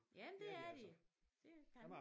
Ja men det er det kan